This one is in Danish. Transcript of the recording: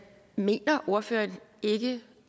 mener ordføreren ikke